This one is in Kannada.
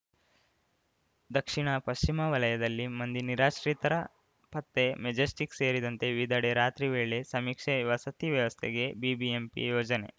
ದಕ್ಷಿಣ ಪಶ್ಚಿಮ ವಲಯದಲ್ಲಿ ಮಂದಿ ನಿರಾಶ್ರಿತರ ಪತ್ತೆ ಮೆಜೆಸ್ಟಿಕ್‌ ಸೇರಿದಂತೆ ವಿವಿಧೆಡೆ ರಾತ್ರಿ ವೇಳೆ ಸಮೀಕ್ಷೆ ವಸತಿ ವ್ಯವಸ್ಥೆಗೆ ಬಿಬಿಎಂಪಿ ಯೋಜನೆ